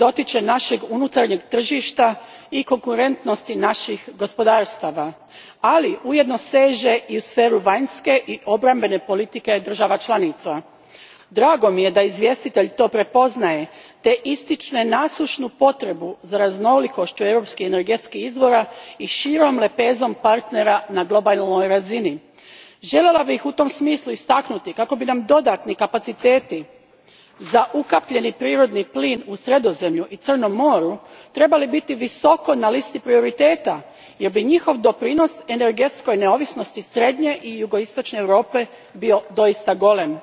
Gospođo predsjednice, rasprava o energetskoj sigurnosti je višedimenzionalna jer se dotiče našeg unutarnjeg tržišta i konkurentnosti naših gospodarstava, ali ujedno seže i u sferu vanjske i obrambene politike država članica. Drago mi je da izvjestitelj to prepoznaje te ističe nasušnu potrebu za raznolikošću europskih energetskih izvora i širom lepezom partnera na globalnoj razini. Željela bih u tom smislu istaknuti kako bi nam dodatni kapaciteti za ukapljeni prirodni plin u Sredozemlju i Crnom moru trebali biti visoko na listi prioriteta jer bi njihov doprinos energetskoj neovisnosti srednje i jugoistočne Europe bio doista golem.